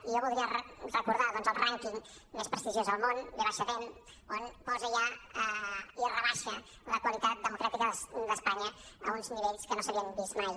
i jo voldria recordar doncs el rànquing més prestigiós al món v dem on posa ja i rebaixa la qualitat democràtica d’espanya a uns nivells que no s’havien vist mai